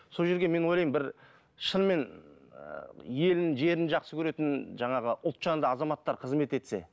сол жерге мен ойлаймын бір шынымен елін жерін жақсы көретін жаңағы ұлтжанды азаматтар қызмет етсе